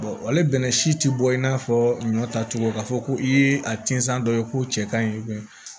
ale bɛnnɛ si tɛ bɔ i n'a fɔ ɲɔ tacogo ka fɔ ko i ye a tinsan dɔ ye k'o cɛ ka ɲi